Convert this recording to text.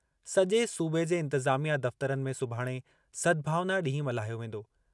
सजे॒ सूबे जे इंतिज़ामिया दफ़्तरनि में सुभाणे सद्भावना ॾींहुं मल्हायो वेंदो।